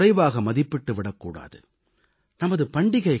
அதை நாம் எப்போதும் குறைவாக மதிப்பிட்டு விடக் கூடாது